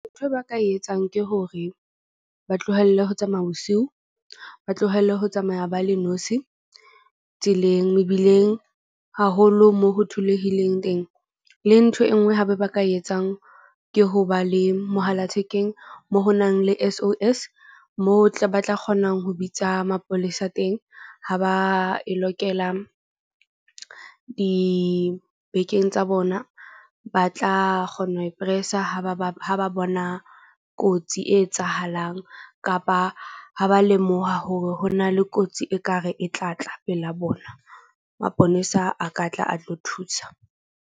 Ntho e ba ka e etsang ke hore ba tlohelle ho tsamaya bosiu. Ba tlohelle ho tsamaya ba le tseleng. Mebileng haholo moo ho tholehileng teng, le ntho e nngwe hape ba ka e etsang. Ke ho ba le mohala thekeng mo ho nang le S_O_S mo tle ba tla kgonang ho bitsa mapolesa teng. Ha ba e lokela di-bag-keng tsa bona. Ba tla kgona ho e press-a ha ba ba bona kotsi e etsahalang kapa ha ba lemoha hore ho na le kotsi ekare e tla tla pela bona, maponesa a ka tla a tlo thusa.